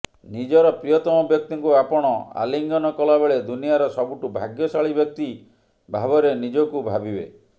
ନିଜର ପ୍ରିୟତମ ବ୍ୟକ୍ତିଙ୍କୁ ଆପଣ ଆଲିଙ୍ଗନ କଲାବେଳେ ଦୁନିଆର ସବୁଠୁ ଭାଗ୍ୟଶାଳୀ ବ୍ୟକ୍ତି ଭାବରେ ନିଜକୁ ଭାବିବେ